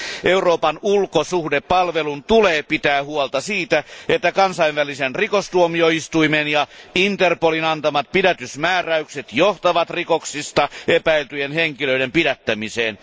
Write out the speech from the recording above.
Euroopan ulkosuhdehallinnon tulee pitää huolta siitä, että Kansainvälisen rikostuomioistuimen ja Interpolin antamat pidätysmääräykset johtavat rikoksista epäiltyjen henkilöiden pidättämiseen.